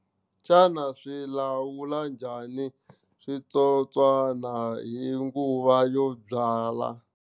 Xana swi lawula njhani switsotswana hi nguva yo byala.